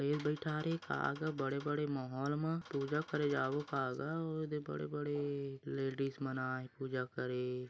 गनेश बईठारे का गा बड़े बड़े मोहॉल मा पूजा करे जाबो का गा ओदे बड़े बड़े लेडीस मन आए हें पूजा करे--